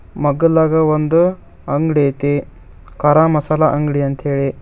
ಮಗ್ಗಲ್ದಾಗ ಒಂದು ಅಂಗಡಿ ಐತಿ ಖಾರ ಮಸಾಲಾ ಅಂಗಡಿ ಅಂತ್ ಹೇಳಿ.